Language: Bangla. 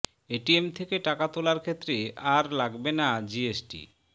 এটিএম থেকে টাকা তোলার ক্ষেত্রে আর লাগবে না জিএসটি